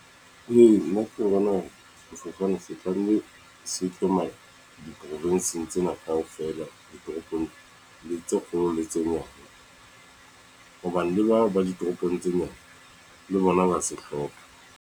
Ee, nna ke tlo bona hore sefofane se tlamehile se tsamaye diprofinsing tsena kaofela ditoropong le tse kgolo le tse nyane, hobane le bao ba ditoropong tse nyane le bona ba se hloka.